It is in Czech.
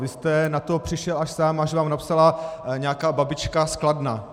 Vy jste na to přišel až sám, až vám napsala nějaká babička z Kladna.